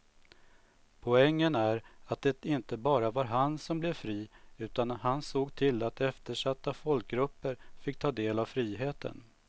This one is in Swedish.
Poängen är att det inte bara var han som blev fri utan han såg till att eftersatta folkgrupper fick ta del av friheten.